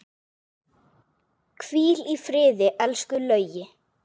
Hvíl í friði, elsku Laugi.